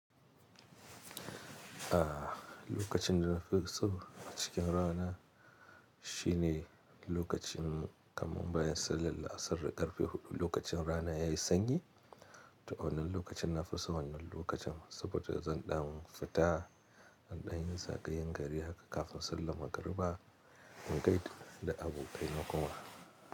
A lokacin da na fi so cikin rana shine lokacin kamar bayan sallar la'asar karfe hudu, lokacin rana yayi sanyi. To wannan lokacin nafi son wannan lokacin saboda zan dan fita in ɗayin zagayan gari haka kafin sallan magariba in gaida da abokaina kuma.